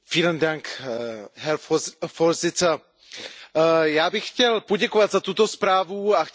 Já bych chtěl poděkovat za tuto zprávu a chtěl bych poděkovat Komisi, že se tímto problémem zabývá.